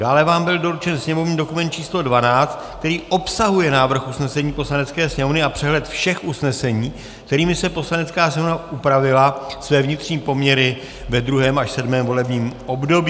Dále vám byl doručen sněmovní dokument číslo 12, který obsahuje návrh usnesení Poslanecké sněmovny a přehled všech usnesení, kterými si Poslanecká sněmovna upravila své vnitřní poměry ve 2. až 7. volebním období.